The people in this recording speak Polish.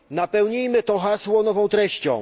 Napełnijmy to hasło nową treścią.